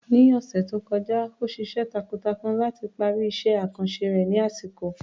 Ní ọ̀sẹ̀ tó kọjá, ó ṣiṣẹ́ takuntakun láti parí iṣẹ́ àkànṣe rẹ̀ ní àsìkò.